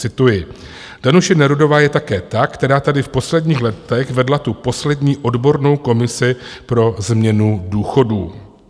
Cituji: "Danuše Nerudová je také ta, která tady v posledních letech vedla tu poslední odbornou komisi pro změnu důchodů."